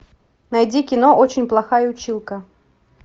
найди кино очень плохая училка